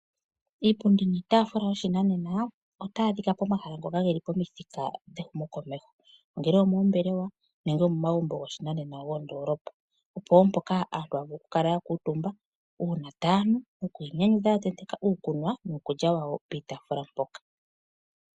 Iipundi niitafula yoshinanena, otayi adhika pomahala ngoka geli pomithika dhehumo komeho, ongele omoOmbelewa nenge omomagumbo goshinanena gooOndolopa. Opo wo mpoka aantu haya vulu okukala ya kuutumba uuna tayanu noku inyanyudha ya tenteka uukunwa nuukulya wawo piitafula mpoka.